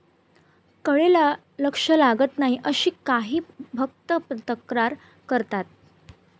कडे लक्ष लागत नाही अशी काही भक्त तक्रार करतात